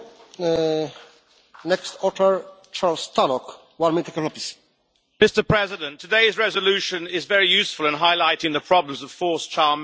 Mr President, today's resolution is very useful in highlighting the problems of forced child marriage and acts of sexual violence against women in Bangladesh, which we all rightly condemn.